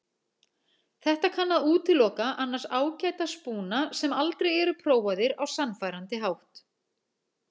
Þetta kann að útiloka annars ágæta spúna sem aldrei eru prófaðir á sannfærandi hátt.